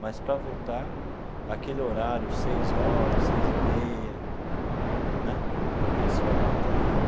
Mas para voltar, aquele horário, seis horas, seis e meia né, esse horário é terrível.